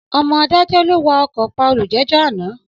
Ọmọ adájọ́ ló wa ọkọ̀ pa olùjẹ́jọ́ àná.